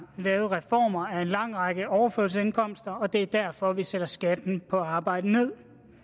lavet reformer af en lang række overførselsindkomster og det er derfor vi sætter skatten på arbejde